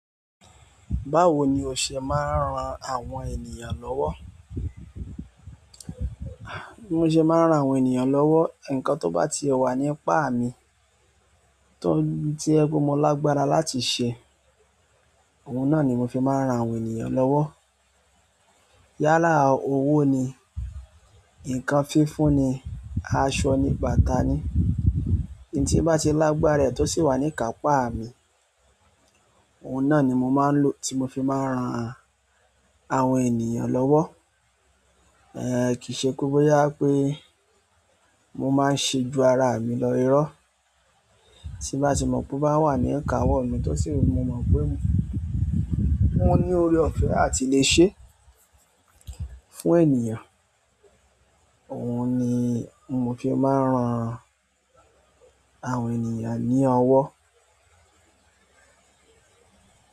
Báwo ni o ṣe máa ń ran àwọn ènìyàn lọ́wọ́? Mo ṣe máa ń ran àwọn ènìyàn lọ́wọ́, ǹkan tó bá ti wà ní apá mi tó, to jẹ pé mo lágbára láti ṣe, òun náà ni mo fi máa ń ran àwọn ènìyàn lọ́wọ́. Yálà owó ni, ǹkan fífúnni, aṣọ ní bàtà ni, n tí bá ti lágbára ẹ̀ tó sì wà ní kàpá mi, òun náà ni mo máa ń lo, tí mo fi máa ń ran àwọn ènìyàn lọ́wọ́. Kì ṣé pé bọ́yá pé mo máa ń ṣe ju ara mi lọ irọ́, tí bá ti mọ̀ pé ó bá wà ní ika wọ́ mi tó sì wu mo mọ̀ pé mọ ní oore-ọ̀fẹ́ a ti le ṣe fún ènìyàn, òun ni mo fi máa ń ran àwọn ènìyàn ní ọwọ́.